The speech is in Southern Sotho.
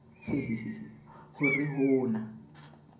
hehehe ho re ho na